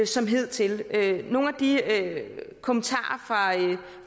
som hidtil nogle af de kommentarer